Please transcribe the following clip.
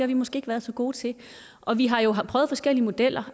vi måske ikke været så gode til og vi har jo prøvet forskellige modeller